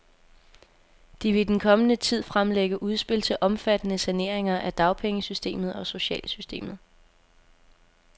De vil i den kommende tid fremlægge udspil til omfattende saneringer af dagpengesystemet og socialsystemet.